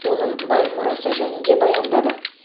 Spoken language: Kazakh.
оның бай мұрасы жөнінде баяндады